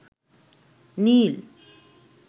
নীল